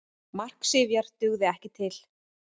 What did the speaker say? Mark Sifjar dugði ekki til